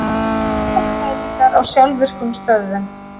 Úrkomumælingar á sjálfvirkum stöðvum